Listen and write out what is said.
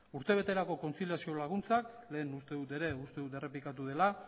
urtebeterako kontziliaziorako laguntzak lehen uste dut ere uste dut errepikatu dela